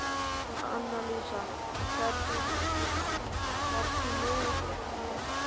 Annalísa, ferð þú með okkur á fimmtudaginn?